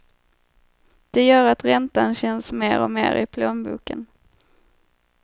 Det gör att räntan känns mer och mer i plånboken.